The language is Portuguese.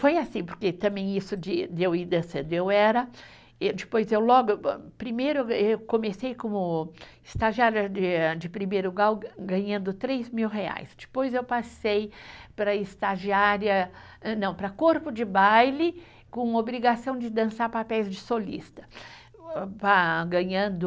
Foi assim, porque também isso de de eu ir dançando, eu era, êh depois eu logo, primeiro eu eu comecei como estagiária de de primeiro grau, ga ganhando três mil reais, depois eu passei para estagiária, não, para corpo de baile, com obrigação de dançar papéis de solista, ah ganhando